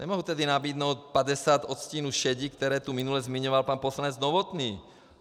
Nemohu tedy nabídnout 50 odstínů šedi, které tu minule zmiňoval pan poslanec Novotný.